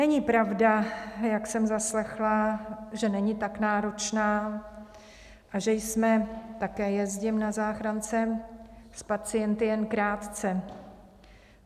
Není pravda, jak jsem zaslechla, že není tak náročná a že jsme - také jezdím na záchrance - s pacienty jen krátce.